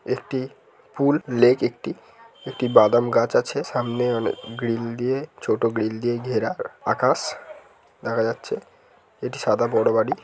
একটি ফুল লেক একটি বাদাম গাছ আছে সামনে অনেক গ্রিল দিয়ে ছোট গ্রিল দিয়ে ঘেরা আকাশ দেখা যাচ্ছে এটি সাদা বড়ো বাড়ি।